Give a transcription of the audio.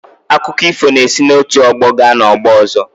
Akụkọ ifọ na-esi n’otu ọgbọ gaa n’ọgbọ ọzọ.